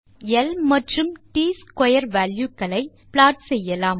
நாம் ல் மற்றும் ட் ஸ்க்வேர் வால்யூ களை ப்ளாட் செய்யலாம்